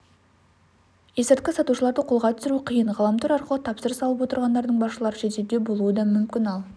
есірткі сатушыларды қолға түсіру қиын ғаламтор арқылы тапсырыс алып отырғандардың басшылары шетелде болуы да мүмкін ал